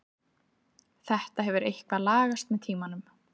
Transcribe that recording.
Þetta hefur eitthvað lagast með tímanum.